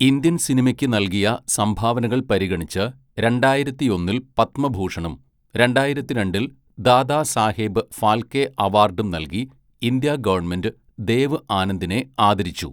Indian സിനിമയ്ക്ക് നൽകിയ സംഭാവനകൾ പരിഗണിച്ച് രണ്ടായിരത്തിയൊന്നിൽ പത്മഭൂഷണും, രണ്ടായിരത്തിരണ്ടിൽ ദാദാസാഹേബ് ഫാൽക്കെ അവാർഡും നൽകി ഇന്ത്യാ ഗവൺമെൻ്റ് ദേവ് ആനന്ദിനെ ആദരിച്ചു.